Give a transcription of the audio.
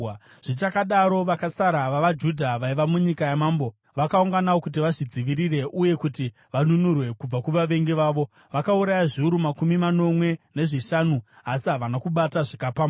Zvichakadaro, vakasara vavaJudha vaiva munyika yamambo vakaunganawo kuti vazvidzivirire uye kuti vanunurwe kubva kuvavengi vavo. Vakauraya zviuru makumi manomwe nezvishanu asi havana kubata zvakapambwa.